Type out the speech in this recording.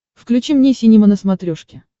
включи мне синема на смотрешке